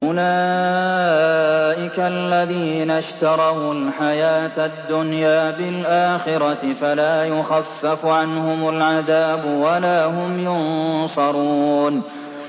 أُولَٰئِكَ الَّذِينَ اشْتَرَوُا الْحَيَاةَ الدُّنْيَا بِالْآخِرَةِ ۖ فَلَا يُخَفَّفُ عَنْهُمُ الْعَذَابُ وَلَا هُمْ يُنصَرُونَ